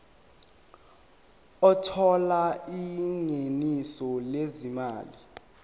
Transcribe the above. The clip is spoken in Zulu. othola ingeniso lezimali